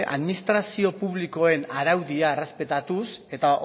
administrazio publikoen araudia errespetatuz eta